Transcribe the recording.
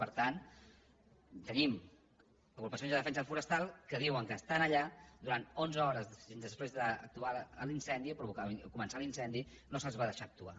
per tant tenim agrupacions de defensa forestal que diuen que estan allà durant onze hores després de començar l’incendi no se les va deixar actuar